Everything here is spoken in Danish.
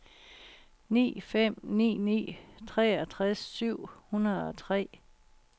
ni fem ni ni treogfirs syv hundrede og tre